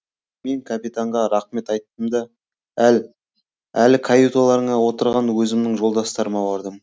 мен капитанға рақмет айттым да әлі каюталарында отырған өзімнің жолдастарыма бардым